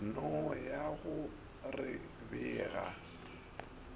no ya go re bega